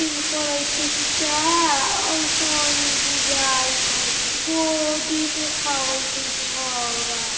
जिम करेते का ओय से ही बुझाइत है बॉडी दिखावेत ही छौरा।